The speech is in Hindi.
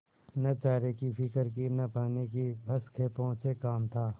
न चारे की फिक्र थी न पानी की बस खेपों से काम था